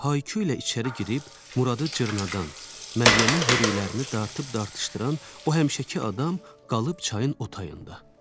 Elə bil Haykə ilə içəri girib, Muradı cırnadandan, Məryəmin hörüklərini dartıb dartışdıran o həmişəki adam qalıb çayın o tayında.